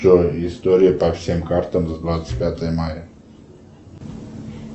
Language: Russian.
джой история по всем картам за двадцать пятое мая